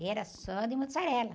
E era só de mozzarella.